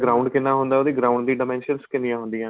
ground ਕਿੰਨਾ ਹੁੰਦਾ ਉਹਦੀ ground ਦੀ dimensions ਕਿੰਨੀਆਂ ਹੁੰਦੀਆਂ ਨੇ